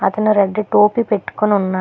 అతను రెడ్ టోపీ పెట్టుకొని ఉన్నా--